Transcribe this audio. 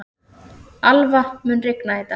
Alva, mun rigna í dag?